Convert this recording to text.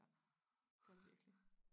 Ja det er der virkelig